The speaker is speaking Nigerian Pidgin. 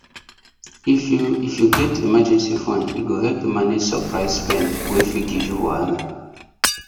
if you if you get emergency fund e go help you manage surprise spend wey fit give you wahala